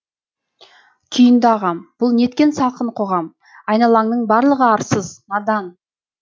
күйінді ағам бұл неткен салқын қоғам айналаңның барлығы арсыз надан